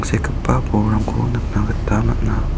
sekgipa bolrangko nikna gita man·a.